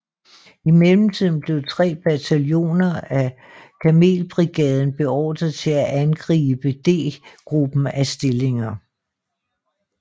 I mellemtiden blev tre bataljoner af kamelbrigaden beordret til at angribe D gruppen af stillinger